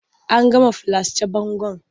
An gama filasce bangon.